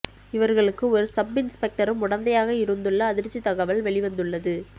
இவர்களுக்கு ஒரு சப் இன்ஸ்பெக்டரும் உடந்தையாக இருந்துள்ள அதிர்ச்சி தகவல் வெளிவந்துள்ளது